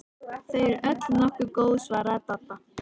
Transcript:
Þau eru öll nokkuð góð svaraði Dadda.